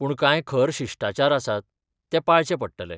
पूण कांय खर शिश्टाचार आसात, ते पाळचे पडटले.